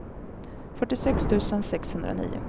fyrtiosex tusen sexhundranio